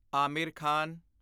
Aamir Khan